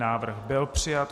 Návrh byl přijat.